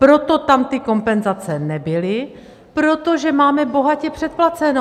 Proto tam ty kompenzace nebyly, protože máme bohatě předplaceno!